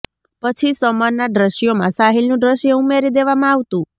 પછી સમરના દ્રશ્યોમાં સાહિલનું દ્રશ્ય ઉમેરી દેવામાં આવતું